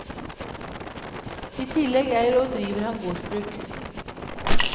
I tillegg eier og driver han gårdsbruk.